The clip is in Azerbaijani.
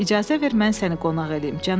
İcazə ver, mən səni qonaq eləyim,